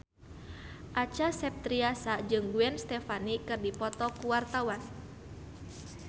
Acha Septriasa jeung Gwen Stefani keur dipoto ku wartawan